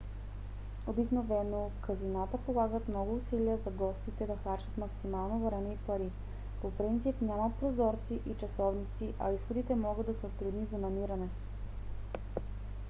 обикновено казината полагат много усилия за гостите да харчат максимално време и пари. по принцип няма прозорци и часовници а изходите могат да са трудни за намиране